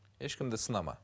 ешкімді сынама